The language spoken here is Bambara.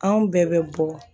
Anw bɛɛ bɛ bɔ